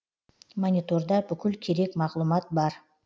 мониторда бүкіл керек мағлұмат бар